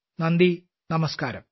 നന്ദി നമസ്ക്കാരം